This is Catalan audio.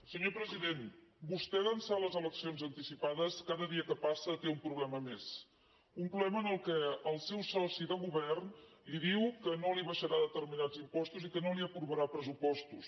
senyor pre·sident vostè d’ençà de les eleccions anticipades ca·da dia que passa té un problema més un problema en què el seu soci de govern li diu que no li abaixarà de·terminats impostos i que no li aprovarà pressupostos